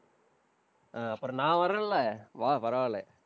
அஹ் அப்புறம் நான் வர்றேன் இல்லை? வா, பரவாயில்லை